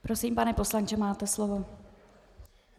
Prosím, pane poslanče, máte slovo.